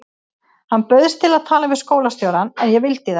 Hann bauðst til að tala við skólastjórann en ég vildi það ekki.